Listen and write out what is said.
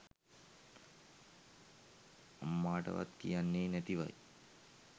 අම්මාටවත් කියන්නේ නැතිවයි